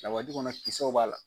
Lawaji kɔnɔ kisaw b'a la.